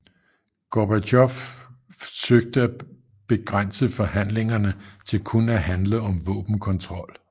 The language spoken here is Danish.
Gorbatjov søgte at begrænse forhandlingerne til kun at handle om våbenkontrol